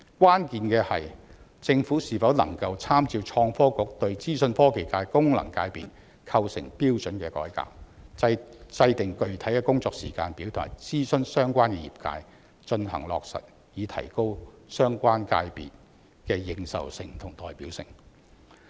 關鍵是政府是否能夠參照創新及科技局對資訊科技界功能界別構成標準的改革，制訂具體工作時間表及諮詢相關業界，予以落實，以提高相關界別的認受性和代表性。